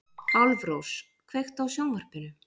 Álfrós, kveiktu á sjónvarpinu.